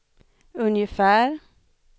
ungefär